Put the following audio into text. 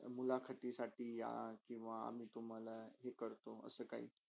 मुलाकीसाठी या किवा आमी तुम्हाला हे करतो असे काही?